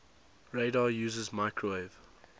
radar uses microwave